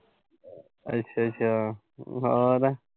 ਅੱਛਾ-ਅੱਛਾ ਹੋਰ।